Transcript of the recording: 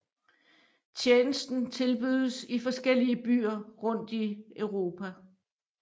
Tjenesten tilbydes i forskellige byer rundt i Europa